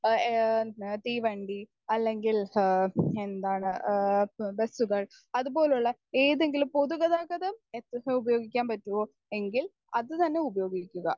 Speaker 1 ഏഹ് തീവണ്ടി അല്ലെങ്കിൽ ഏഹ് എന്താണ് ബസ്സുകൾ അതുപോലുള്ള ഏതെങ്കിലും പൊതുഗതാഗതം എത്രത്തോളം ഉപയോഗിക്കാൻ പറ്റുമോ എങ്കിൽ അത് തന്നെ ഉപയോഗിക്കുക.